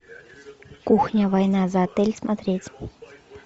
кухня война за отель смотреть